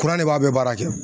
Kuran de b'a bɛɛ baara kɛ.